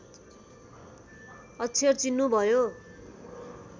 अक्षर चिन्नुभयो